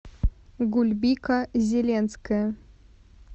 гульбика зеленская